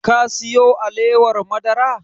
Ka siyo alewar madara?